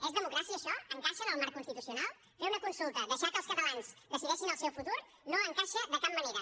és democràcia això encaixa en el marc constitucional fer una consulta deixar que els catalans decideixin el seu futur no encaixa de cap manera